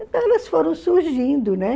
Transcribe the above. Então elas foram surgindo, né?